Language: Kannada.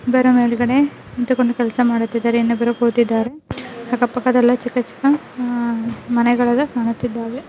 ಅದರ ಮೇಳಗಡೆ ನಿಂತುಕೊಂಡು ಕೆಲಸ ಮಾಡುತ್ತಿದ್ದಾರೆ. ಇನ್ನೊಬ್ಬರು ಕೂತಿದ್ದಾರೆ ಅಕ್ಕ ಪಕ್ಕದಲ್ಲಿ ಚಿಕ್ಕ ಚಿಕ್ಕ ಆ ಮನೆಗಳು ಎಲ್ಲಾ ಕಾಣುತ್ತಾ ಇದ್ದವೆ.